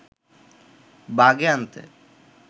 বাগে আনতে